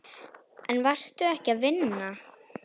En varstu ekki að vinna?